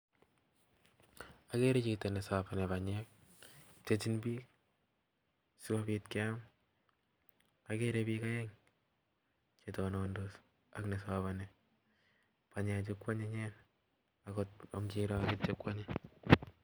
Agere Chito nesapani panyeek pchechin piik sigopiit keam agere piik aek chetonondos AK nesabani panyeee chuu koanyinyen angot kesabani